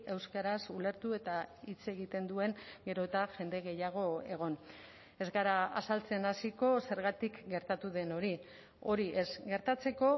euskaraz ulertu eta hitz egiten duen gero eta jende gehiago egon ez gara azaltzen hasiko zergatik gertatu den hori hori ez gertatzeko